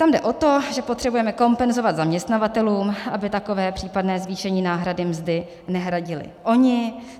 Tam jde o to, že potřebujeme kompenzovat zaměstnavatelům, aby takové případné zvýšení náhrady mzdy nehradili oni.